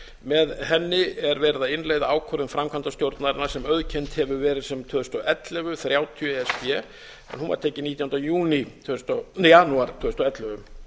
með henni er verið að innleiða ákvörðun framkvæmdastjórnarinnar sem auðkennd hefur verið sem tvö þúsund og ellefu þrjátíu e s b en hún var tekin nítjánda janúar tvö þúsund og ellefu